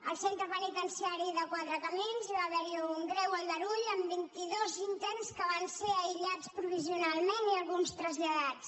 al centre penitenciari quatre camins hi va haver un greu aldarull amb vint·i·dos interns que van ser aï·llats provisionalment i alguns traslladats